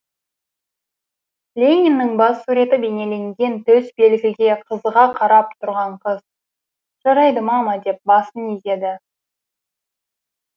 лениннің бас суреті бейнеленген төсбелгіге қызыға қарап тұрған қыз жарайды мама деп басын изеді